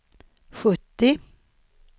sjuttio